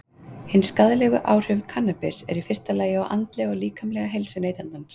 Hin skaðlegu áhrif kannabis eru í fyrsta lagi á andlega og líkamlega heilsu neytandans.